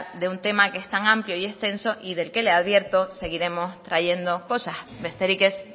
de un tema que es tan amplio y extenso y del que le advierto seguiremos trayendo cosas besterik ez